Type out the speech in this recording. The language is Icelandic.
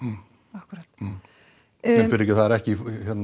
akkúrat nei fyrirgefðu það er ekki